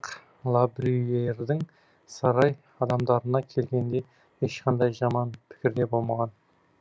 лабрюйердің сарай адамдарына келгенде ешқандай жаман пікірде болмаған